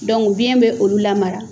biyɛn bɛ olu lamara.